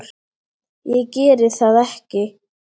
Ég geri það ekki!